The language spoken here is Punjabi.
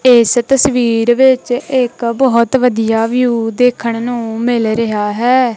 ਇਸ ਤਸਵੀਰ ਵਿੱਚ ਇਕ ਬਹੁਤ ਵਧੀਆ ਵਿਊ ਦੇਖਣ ਨੂੰ ਮਿਲ ਰਿਹਾ ਹੈ।